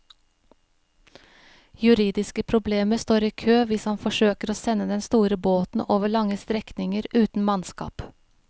Juridiske problemer står i kø hvis han forsøker å sende den store båten over lange strekninger uten mannskap.